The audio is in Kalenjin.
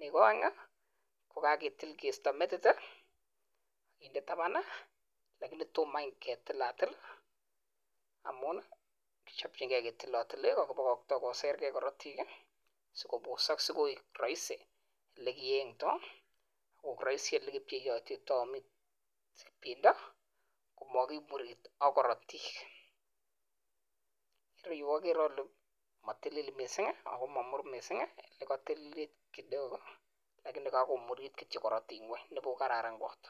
Nego oeng kogaketil kisto metit kinde taban lakini tomo any kitilatil amun kichopchin key ketilotili igo, kibokokto koser ge korotik si kobosok si koig roisi ele keyengto, koig roisi ole kepcheopcheito bendo komokimurit ak korotik. Ireu ogere ole motilil mising ago momur mising, ele kotililit kidogo lakini kogomurit kityo korotik ngweny nebuch ko kararan kot.